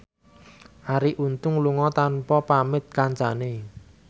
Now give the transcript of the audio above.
Arie Untung lunga tanpa pamit kancane